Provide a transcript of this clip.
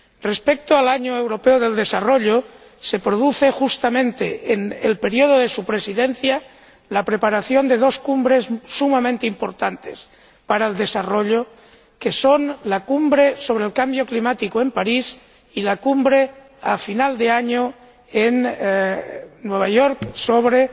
Respecto al Año Europeo del Desarrollo, se produce justamente en el período de su Presidencia la preparación de dos cumbres sumamente importantes para el desarrollo, como son la Cumbre sobre el Cambio Climático, en París, y la Cumbre, al final del año, en Nueva York, sobre